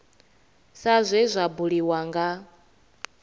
sa zwe zwa buliwa nga